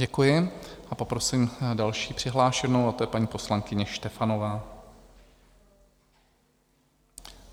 Děkuji a poprosím další přihlášenou, a tou je paní poslankyně Štefanová.